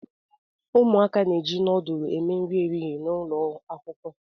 Umuaka n'eji núdúlú eme nri ehihie n'ụlọ Akwụkwọ